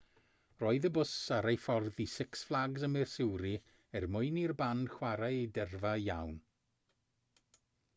roedd y bws ar ei ffordd i six flags ym missouri er mwyn i'r band chwarae i dyrfa lawn